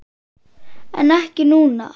En ekki núna?